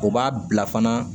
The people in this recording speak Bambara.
O b'a bila fana